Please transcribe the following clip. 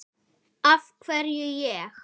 Af hverju ég?